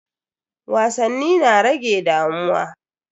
Wasanni na rage damuwa.